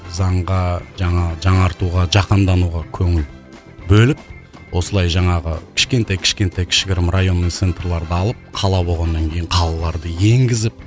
заңға жаңағы жаңартуға жаһандануға көңіл бөліп осылай жаңағы кішкентай кішкентай кішігірім районный центрларды алып қала болғаннан кейін қалаларды енгізіп